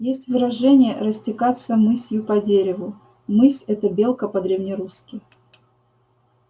есть выражение растекаться мысью по древу мысь это белка по-древнерусски